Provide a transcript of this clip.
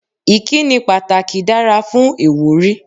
Ìkíni pàtàkì dára fún ìwúrí.